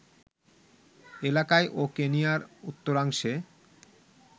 এলাকায় ও কেনিয়ার উত্তরাংশে